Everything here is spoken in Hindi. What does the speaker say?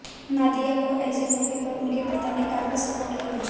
नादिया को ऐसे मौंके पर उनके पिता ने काफी सोपोर्ट किया